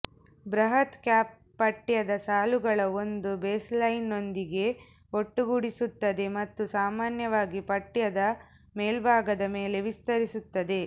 ಬೃಹತ್ ಕ್ಯಾಪ್ ಪಠ್ಯದ ಸಾಲುಗಳ ಒಂದು ಬೇಸ್ಲೈನ್ನೊಂದಿಗೆ ಒಟ್ಟುಗೂಡಿಸುತ್ತದೆ ಮತ್ತು ಸಾಮಾನ್ಯವಾಗಿ ಪಠ್ಯದ ಮೇಲ್ಭಾಗದ ಮೇಲೆ ವಿಸ್ತರಿಸುತ್ತದೆ